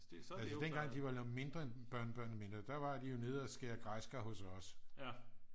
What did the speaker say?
altså dengang de var mindre børnebørnene var mindre der var de nede at skære græskar hos os